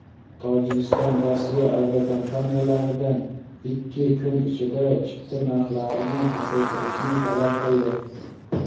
Tojikiston Rossiya aviakompaniyalaridan ikki kun ichida chipta narxlarini pasaytirishni talab qildi.